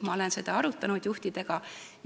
Ma olen seda haiglajuhtidega arutanud.